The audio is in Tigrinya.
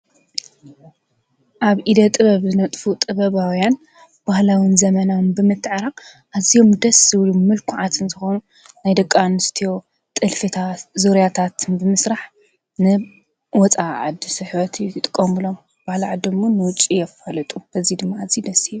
ኣብ ኢደ ጥበብ ዝነጥፉ ጥበባውያን ባህላውን ዘመናን ብምትዕራቕ ኣዚዮም ደስ ብሉ ምልኩዓትን ዝኾኑ ናይ ደቂ ኣንስትዮ ጥልፊታት፣ ዙርያታትን ብምስራሕ ንወፃኢ ዓዲ ስሕበት ይጥቀምሎም ባህሊ ዓዶም ውን ንውጪ የፋልጡ በዙይ ድማ ኣዝዩ ደስ ይብል፡፡